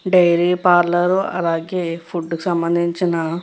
dairy parlour అలాగే food కి సంభందించిన --